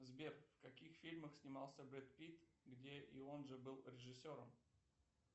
сбер в каких фильмах снимался брэд питт где и он же был режиссером